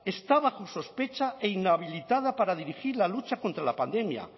está bajo sospecha e inhabilitada para dirigir la lucha contra la pandemia